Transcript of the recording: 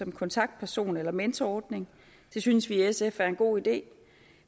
en kontaktperson eller mentorordning det synes vi i sf er en god idé